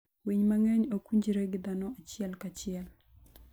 Winy mang'eny ok winjre gi dhano achiel kachiel.